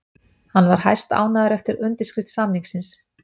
Hann var hæstánægður eftir undirskrift samningsins